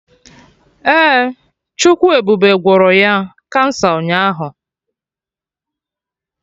Ee, Chukwu ebube gwọrọ ya kansa ụnyaahụ